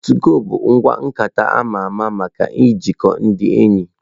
Tụgo bụ ngwa nkata ama ama maka ijikọ ndị enyi.